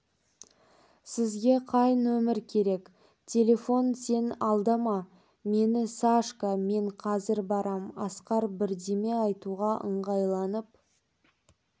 сізге қай нөмер керек телефон сен алдама мені сашка мен қазір барам асқар бірдеме айтуға ыңғайланып